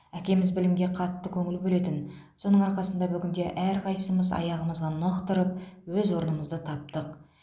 әкеміз білімге қатты көңіл бөлетін соның арқасында бүгінде әрқайсымыз аяғымызға нық тұрып өз орнымызды таптық